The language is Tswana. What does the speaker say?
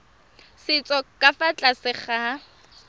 setso ka fa tlase ga